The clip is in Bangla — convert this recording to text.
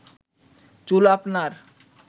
চুল আপনার